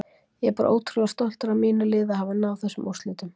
Ég er bara ótrúlega stoltur af mínu liði að hafa náð þessum úrslitum.